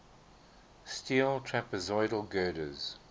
steel trapezoidal girders